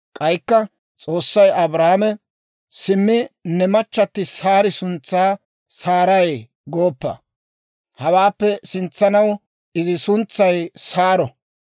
K'aykka S'oossay Abrahaame, «Simmi, ne machchatti Saari suntsaa Saaray gooppa; hawaappe sintsaw izi suntsay Saaro.